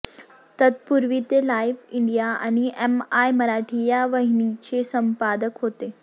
तत्पूर्वी ते Live India आणि एम आय मराठी या वाहिनींचे संपादक होते